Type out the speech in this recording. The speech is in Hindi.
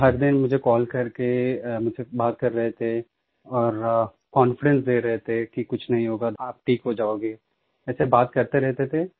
हर दिन मुझे कॉल करके मुझसे बात कर रहे थे और कॉन्फिडेंस दे रहे थे कि कुछ नहीं होगा आप ठीक हो जाओगे ऐसे बात करते रहते थे